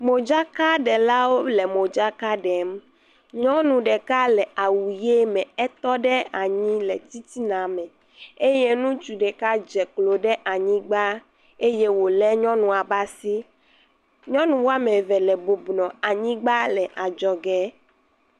Modzakaɖelawo le modzaka ɖem. Nyɔnu ɖekale awu ʋi me etɔ ɖe anyi le titina me eye ŋutsu ɖeka dze klo ɖe anyigba eye wo le nyɔnua be asi. Nyɔnu wɔme eve le bɔbɔnɔ anyigba le adzɔge.